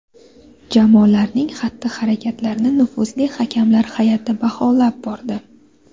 Jamolarning xatti-harakatlarini nufuzli hakamlar hay’ati baholab bordi.